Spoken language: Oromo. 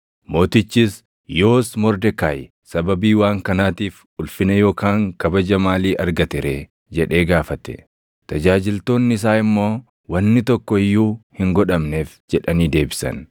Mootichis, “Yoos Mordekaayi sababii waan kanaatiif ulfina yookaan kabaja maalii argate ree?” jedhee gaafate. Tajaajiltoonni isaa immoo, “Wanni tokko iyyuu hin godhamneef” jedhanii deebisan.